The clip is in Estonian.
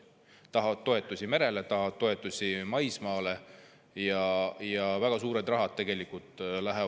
Nad tahavad toetusi merel, tahavad toetusi maismaal.